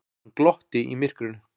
Hann glotti í myrkrinu.